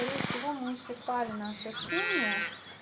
скорее всего мы исчерпали наше общение